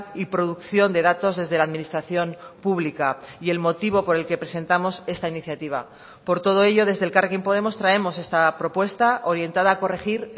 y producción de datos desde la administración pública y el motivo por el que presentamos esta iniciativa por todo ello desde elkarrekin podemos traemos esta propuesta orientada a corregir